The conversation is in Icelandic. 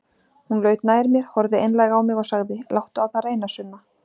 Hún laut nær mér, horfði einlæg á mig og sagði: Láttu á það reyna, Sunna.